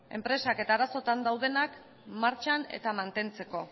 enpresak eta arazoetan daudenak martxan eta mantentzeko